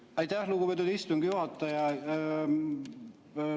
Aitäh, lugupeetud istungi juhataja!